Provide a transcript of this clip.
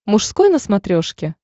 мужской на смотрешке